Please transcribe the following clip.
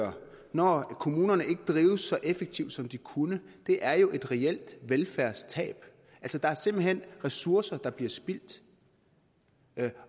når kommunerne ikke drives så effektivt som de kunne er jo et reelt velfærdstab der er simpelt hen ressourcer der bliver spildt